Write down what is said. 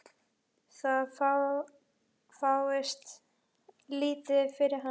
Það fáist lítið fyrir hann.